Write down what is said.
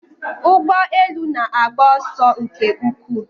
Ụgbọ elu na-agba ọsọ nke ukwuu